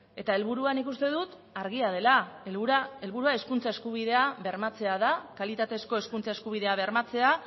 eta helburua nik uste dut argia dela helburua hezkuntza eskubidea bermatzea da kalitatezko hezkuntza eskubidea bermatzea